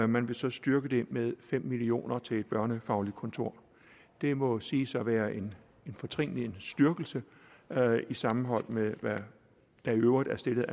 man vil så styrke det med fem million kroner til et børnefagligt kontor det må siges at være en fortrinlig styrkelse sammenholdt med hvad der i øvrigt er stillet